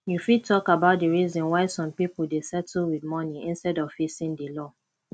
you fit talk about di reasons why some people dey settle with money instead of facing di law